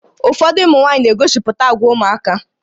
Ụfọdụ ụmụ nwaanyị na-egosipụta àgwà ụmụaka